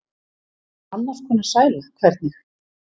Annars konar sæla, hvernig?